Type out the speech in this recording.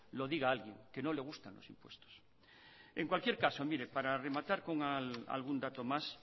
lo diga alguien que no le gustan los impuestos en cualquier caso mire para rematar pongo algún dato más